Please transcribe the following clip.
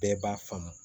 Bɛɛ b'a faamu